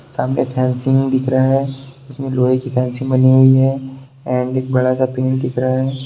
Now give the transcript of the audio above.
सामने फैंसी दिख रहा है जिसमें लोहे कि फैंसी बनी हुई है एंड एक बड़ा सा पेड़ दिख रहा है।